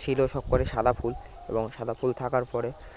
ছিল সবকটি সাদা ফুল এবং সাদা ফুল থাকার পরে